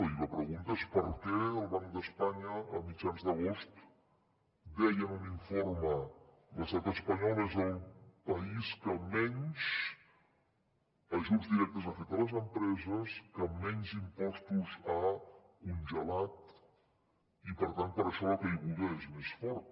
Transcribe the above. i la pregunta és per què el banc d’espanya a mitjans d’agost deia en un informe l’estat espanyol és el país que menys ajuts directes ha fet a les empreses que menys impostos ha congelat i per tant per això la caiguda és més forta